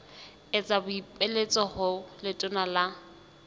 etsa boipiletso ho letona la